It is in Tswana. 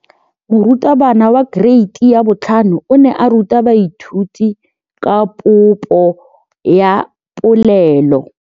Moratabana wa kereiti ya 5 o ne a ruta baithuti ka popô ya polelô.